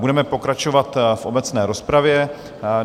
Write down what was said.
Budeme pokračovat v obecné rozpravě.